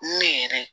Ne yɛrɛ